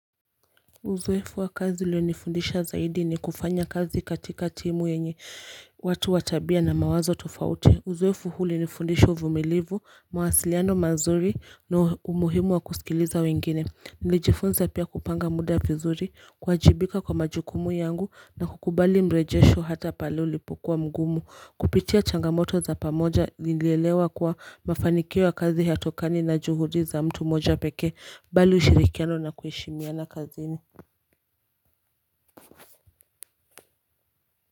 Uzoefu wa kazi ulionifundisha zaidi ni kufanya kazi katika timu yenye watu wa tabia na mawazo tofauti Uzoefu huu ulinifundisha uvumilivu, mawasiliano mazuri na umuhimu wa kusikiliza wengine Nilijifunza pia kupanga muda vizuri, kuwajibika kwa majukumu yangu na kukubali mrejesho hata pale ulipokuwa mgumu Kupitia changamoto za pamoja nilielewa kuwa mafanikio ya kazi hayatokani na juhudi za mtu mmoja pekee Bali ushirikiano na kuheshimiana kazini.